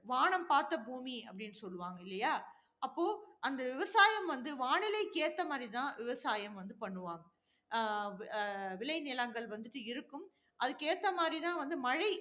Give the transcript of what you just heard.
வானம் பார்த்த பூமி அப்படின்னு சொல்லுவாங்க இல்லையா? அப்போ, அந்த விவசாயம், வந்து வானிலைக்கு ஏத்த மாதிரி தான் விவசாயம் வந்து பண்ணுவாங்க. ஆஹ் விளைநிலங்கள் வந்துட்டு இருக்கும். அதுக்கு ஏத்த மாதிரி தான் வந்து மழை